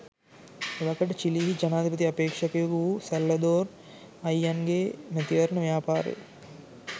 එවකට චිලී හි ජනාධිපති අපේක්ෂකයෙකු වූ සැල්වදෝර් අය්යන්දේ ගේ මැතිවරණ ව්‍යාපාරය